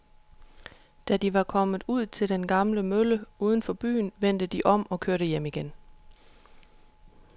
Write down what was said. Da de var kommet ud til den gamle mølle uden for byen, vendte de om og kørte hjem igen.